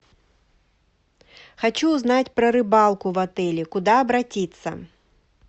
хочу узнать про рыбалку в отеле куда обратиться